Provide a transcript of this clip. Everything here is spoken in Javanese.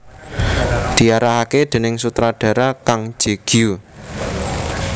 Diarahaké déning sutradhara Kang Je Gyu